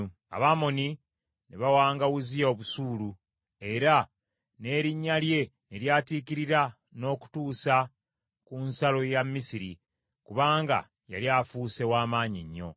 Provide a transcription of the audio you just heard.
Abamoni ne bawanga Uzziya busuulu, era n’erinnya lye ne lyatiikirira n’okutuusa ku nsalo ya Misiri, kubanga yali afuuse wa maanyi nnyo.